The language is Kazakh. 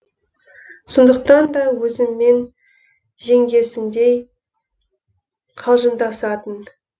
сондықтан да өзіммен жеңгесіндей қалжыңдасатын